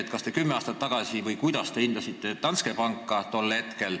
Kuidas te hindasite Danske Banki tol hetkel, kümme aastat tagasi?